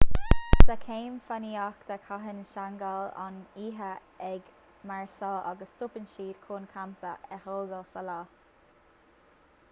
sa chéim fánaíochta caitheann seangáil an oíche ag máirseáil agus stopann siad chun campa a thógáil sa lá